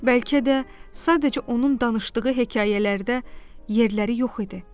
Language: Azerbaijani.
Bəlkə də sadəcə onun danışdığı hekayələrdə yerləri yox idi.